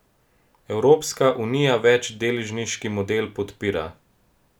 Evropska unija večdeležniški model podpira.